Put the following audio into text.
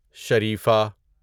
شریفہ